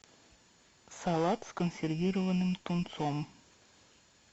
салат с консервированным тунцом